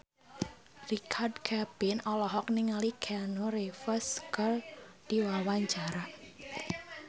Richard Kevin olohok ningali Keanu Reeves keur diwawancara